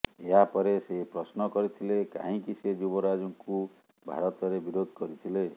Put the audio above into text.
ଏହାପରେ ସେ ପ୍ରଶ୍ନକରିଥିଲେ କାହିଁକି ସେ ଯୁବରାଜଙ୍କୁ ଭାରତରେ ବିରୋଧ କରିଥିଲେ